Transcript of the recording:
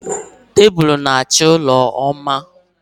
Tabulu na-achọ ụlọ mma